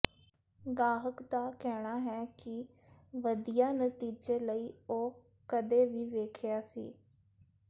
ਗਾਹਕ ਦਾ ਕਹਿਣਾ ਹੈ ਕਿ ਵਧੀਆ ਨਤੀਜੇ ਲਈ ਉਹ ਕਦੇ ਵੀ ਵੇਖਿਆ ਸੀ